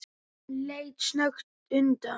Hann leit snöggt undan.